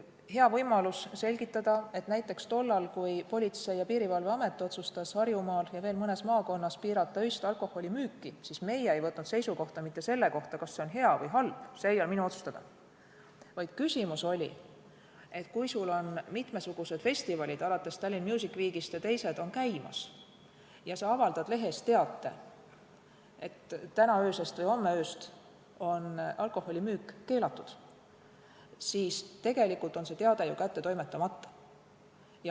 Hea võimalus on selgitada, et näiteks tollal, kui Politsei- ja Piirivalveamet otsustas Harjumaal ja veel mõnes maakonnas piirata öist alkoholimüüki, ei võtnud meie seisukohta mitte selle kohta, kas see on hea või halb, see ei ole minu otsustada, vaid küsimus oli, et kui on käimas mitmesugused festivalid, alates Tallinn Music Weekist, ja sa avaldad lehes teate, et tänasest või homsest ööst on alkoholimüük keelatud, siis tegelikult on see teade ju adressaadile nõuetekohaselt kätte toimetamata.